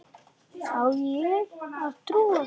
Á ég að trúa þessu?